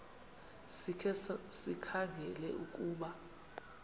sikhe sikhangele ukuba